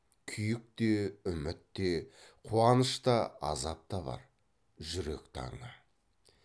күйік те үміт те қуаныш та азап та бар жүрек таңы